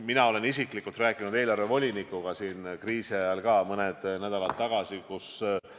Mina olen isiklikult rääkinud ka kriisi ajal, mõni nädal tagasi eelarvevolinikuga.